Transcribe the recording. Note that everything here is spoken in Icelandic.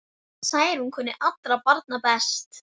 Særún kunni allra barna best.